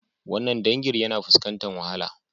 Wannan dangin yana fuskantar wahala